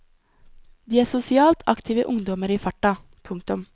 De er sosialt aktive ungdommer i farta. punktum